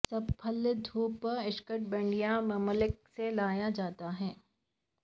سب پھل دھوپ اشنکٹبندیی ممالک سے لایا جاتا ہے